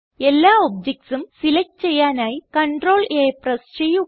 എല്ലാ ഒബ്ജക്റ്റ്സും സെലക്റ്റ് ചെയ്യാനായി CTRL A പ്രസ് ചെയ്യുക